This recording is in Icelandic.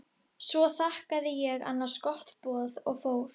Svo þakkaði ég annars gott boð og fór.